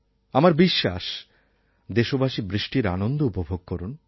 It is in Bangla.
আমার বিশ্বাস দেশবাসী বৃষ্টির আনন্দ উপভোগ করুন